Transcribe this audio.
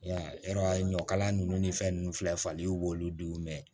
Yarɔ ɲɔkala ninnu ni fɛn ninnu filɛ faliw b'olu dun